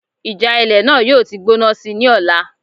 Ìjà ilẹ̀ náà yóò ti gbóná síi ní ọ̀la